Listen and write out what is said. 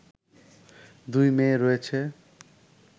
দুই মেয়ে রয়েছে